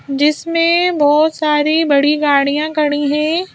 जिसमें बहुत सारी बड़ी गाड़ियां खड़ी हैं।